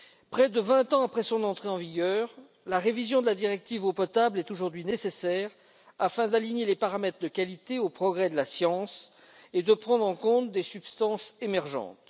Près de 20 ans après son entrée en vigueur, la révision de la directive eau potable est aujourd'hui nécessaire afin d'aligner les paramètres de qualité sur les progrès de la science et de prendre en compte des substances émergentes.